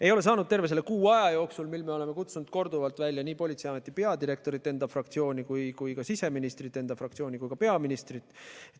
Ei ole neid saanud terve selle kuu aja jooksul, mil me oleme enda fraktsiooni korduvalt välja kutsunud nii politseiameti peadirektorit, siseministrit kui ka peaministrit.